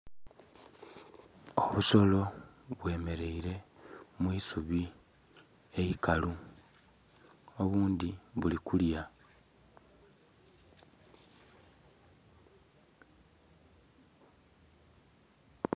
Obusolo bwe mereire mwisubi eikalu obundhi buli kulya.